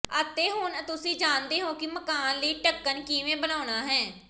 ਅਤੇ ਹੁਣ ਤੁਸੀਂ ਜਾਣਦੇ ਹੋ ਕਿ ਮਕਾਨ ਲਈ ਢੱਕਣ ਕਿਵੇਂ ਬਣਾਉਣਾ ਹੈ